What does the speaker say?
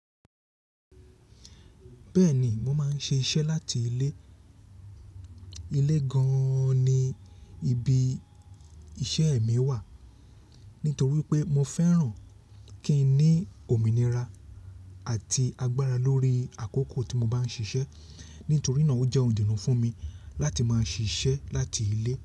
Bẹ́ẹ̀ni, mo máa ń ṣe iṣẹ́ láti ilé. Ilé gan-an ni ibi iṣẹ́ mi wà. Nítorí pé mo fẹ́ràn kí n ní òmìnira àti agbára lórí àkókò tí mo bá ń ṣiṣẹ́. Nítorí náà ó jẹ́ ohun idunnù fún mi láti máa ṣiṣẹ́ láti ilé.